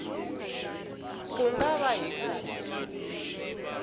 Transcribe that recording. ku nga va hi ku